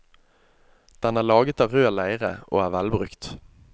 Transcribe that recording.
Den er laget av rød leire og er velbrukt.